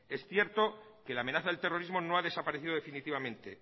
es cierto que la amenaza del terrorismo no ha desaparecido definitivamente